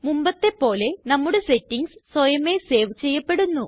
മുമ്പത്തെപ്പോലെ നമ്മുടെ സെറ്റിംഗ്സ് സ്വയമേ സേവ് ചെയ്യപ്പെടുന്നു